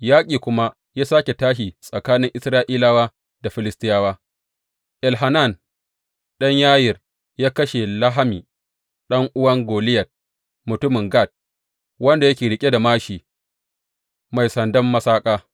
Yaƙi kuma ya sāke tashi tsakanin Isra’ilawa da Filistiyawa, Elhanan ɗan Yayir ya kashe Lahmi ɗan’uwan Goliyat mutumin Gat, wanda yake riƙe da māshi mai sandan masaƙa.